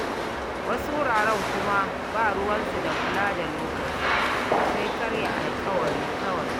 Wasu wuraren kuma ba ruwansu da kula da lokaci, sai karya alƙawari kawai.